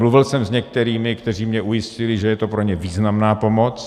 Mluvil jsem s některými, kteří mě ujistili, že je to pro ně významná pomoc.